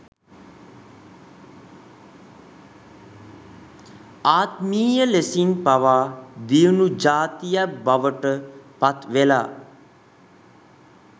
ආත්මීය ලෙසින් පවා දියුණු ජාතියක් බවට පත් වෙලා